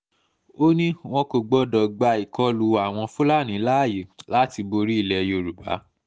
ó ní wọn kò gbọ́dọ̀ gba ìkọlù àwọn fúlàní láàyè láti borí ilẹ̀ yorùbá